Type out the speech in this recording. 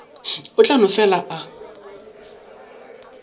o tla no fela a